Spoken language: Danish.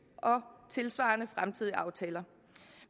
og tilsvarende fremtidige aftaler